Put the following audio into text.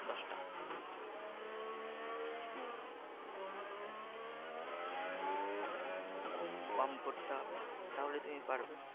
ঘুম কম করতে হবে তাহলেই তুমি পারবে।